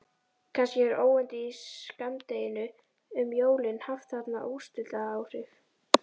Kannski hefur óyndið í skammdeginu um jólin haft þarna úrslitaáhrif.